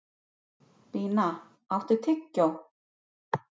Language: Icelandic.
Bína, áttu tyggjó?